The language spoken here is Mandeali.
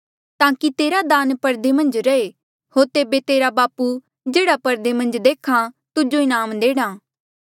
ताकि तेरा दान परदे मन्झ रहे होर तेबे तेरा बापू जेह्ड़ा परदे मन्झ देख्हा तुजो इनाम देणा